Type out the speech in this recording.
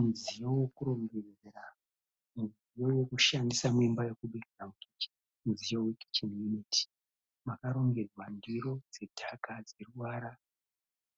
Mudziyo wokurongedzera. Mudziyo wokushandisa muimba yekubikira mukicheni. Mudziyo wekicheni yuniti. Makarongedzwa ndiro dzedhaka dzeruvara